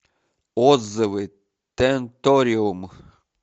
отзывы тенториум